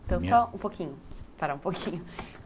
Então, só um pouquinho, parar um pouquinho.